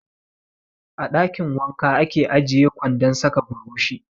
A ɗakin wanka ake ajiye kwandon sa ka burushi.